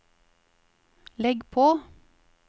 legg på